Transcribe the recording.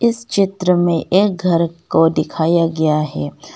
इस चित्र में एक घर को दिखाया गया है।